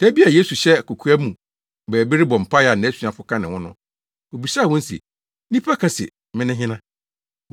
Da bi a Yesu hyɛ kokoa mu baabi rebɔ mpae a nʼasuafo ka ne ho no, obisaa wɔn se, “Nnipa ka se mene hena?”